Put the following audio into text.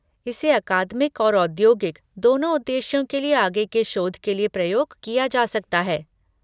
इसे अकादमिक और औद्योगिक दोनों उद्देश्यों के लिए आगे के शोध के लिए प्रयोग किया जा सकता है।